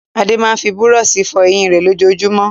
Adé máa ń fi búrọ́ṣì fọ eyín rẹ̀ lójoojúmọ́.